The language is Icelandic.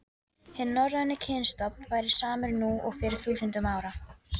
Hinn norræni kynstofn væri samur nú og fyrir þúsundum ára.